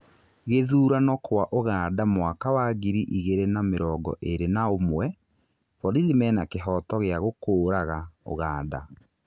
Gĩthurano kwa ũganda mwaka wa ngiri igĩrĩ na mĩrongo ĩrĩ na ũmwe: ' borithi mena kĩhooto gĩa gũkũũraga' ũganda.